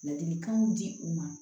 Ladilikanw di u ma